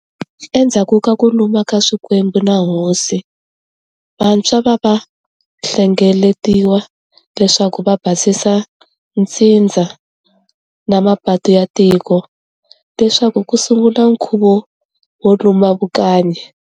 Endhzaku ka ku luma ka swikwembu na Hosi, vantshwa va va hlenegeletiwa leswaku va basisa ntsindza na mapatu ya tiko, leswaku ku sungula nkhuvo wo luma vukanyi.